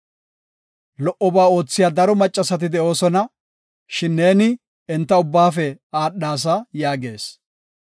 Lo77oba oothiya daro maccasati de7oosona; shin ne enta ubbaafe aadhasa” yaagees.